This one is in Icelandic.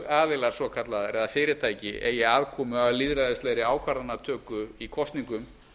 lögaðilar svokallaðir eða fyrirtæki eigi aðkomu að lýðræðislegri ákvarðanatöku í kosningum